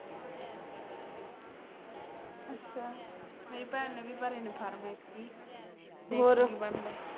ਅੱਛਾ ਮੇਰੀ ਭੈਣ ਨੀ ਭਰੇ ਫਾਰਮ ਐਤਕੀ ਔਰ ਦੇਖੋ ਕਿ ਬਣਦਾ ਹੈ